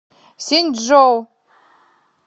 синьчжоу